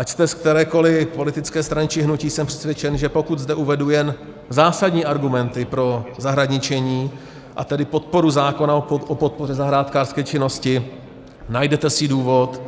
Ať jste z kterékoli politické strany či hnutí, jsem přesvědčen, že pokud zde uvedu jen zásadní argumenty pro zahradničení, a tedy podporu zákona o podpoře zahrádkářské činnosti, najdete si důvod